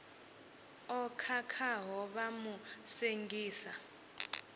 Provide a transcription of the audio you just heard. o khakhaho vha mu sengisa